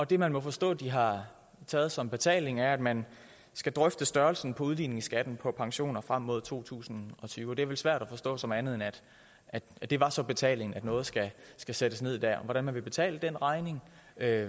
det man må forstå de har taget som betaling er at man skal drøfte størrelsen på udligningsskatten på pensioner frem mod to tusind og tyve det er vel svært at forstå det som andet end at det var så betalingen at noget skal skal sættes ned dér hvordan man vil betale den regning